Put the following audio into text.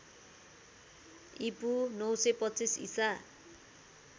ईपू ९२५ ईसा